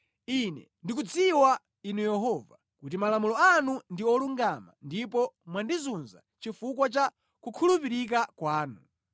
Ine ndikudziwa, Inu Yehova, kuti malamulo anu ndi olungama ndipo mwandizunza chifukwa cha kukhulupirika kwanu.